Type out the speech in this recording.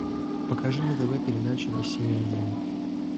покажи на тв передачу россия один